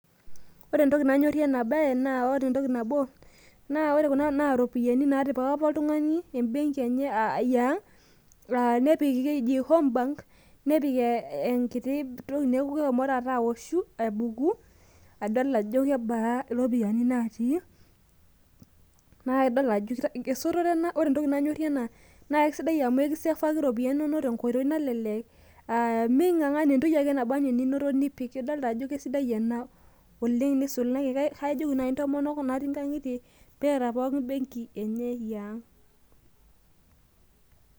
Ore entoki nanyorrie ena bae, na ore entoki nabo, na iropiyiani napika apa oltung'ani ebenki enye yeang',ah nepiki keji homebank ,nepik enkiti toki neeku keshomo taata awoshu, abuku, adol ajo kebaa iropiyiani natii. Na idol ajo esotore ore entoki nanyorrie ena, na aisidai amu ekisefaki ropiyaiani inonok tenkoitoi nalelek, ming'ang'ana entoki ake naba enaa eninoto, nipik. Idolta ajo kesidai ena oleng' nisulaki, ajoki nai ntomono natii nkang'itie, peeta pookin benki enye yeang'.